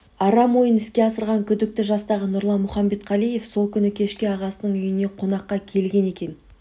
арам ойын іске асырған күдікті жастағы нұрлан мұхамбетқалиев сол күні кешке ағасының үйіне қонаққа келген екен